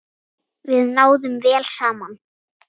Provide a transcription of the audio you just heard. Við náðum vel saman.